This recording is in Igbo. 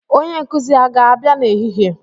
Onye nkuzi aga-abịa n'ehihie?